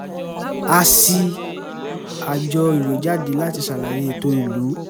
a ṣí àjọ ìwé jáde láti ṣàlàyé ètò ìlú